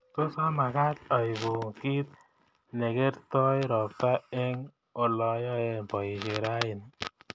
Tos amagaat aibu kiit negertoi ropta eng olayoen boishet raini